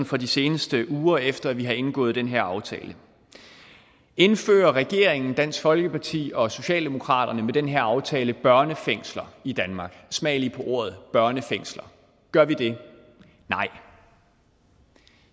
fra de seneste uger efter at vi har indgået den her aftale indfører regeringen dansk folkeparti og socialdemokratiet med den her aftale børnefængsler i danmark smag lige på ordet børnefængsler gør vi det nej